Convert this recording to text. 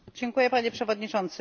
Panie Przewodniczący!